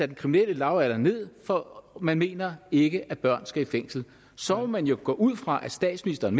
den kriminelle lavalder ned for man mener ikke at børn skal i fængsel så må man jo gå ud fra at statsministeren